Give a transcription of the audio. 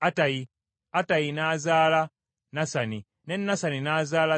Attayi n’azaala Nasani, ne Nasani n’azaala Zabadi.